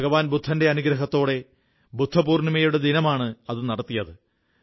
ഭഗവാൻ ബുദ്ധന്റെ അനുഗ്രഹത്തോടെ ബുദ്ധപൂർണ്ണിമയുടെ ദിനമാണ് അത് നടത്തിയത്